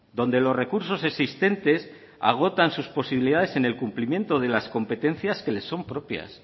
donde los recursos existentes agotan sus posibilidades en el cumplimiento de las competencias que le son propias